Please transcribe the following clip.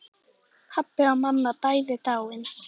Pabbi og mamma bæði dáin.